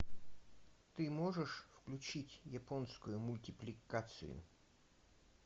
ты можешь включить японскую мультипликацию